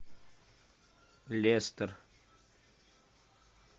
лестер